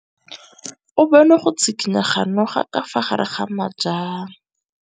O bone go tshikinya ga noga ka fa gare ga majang.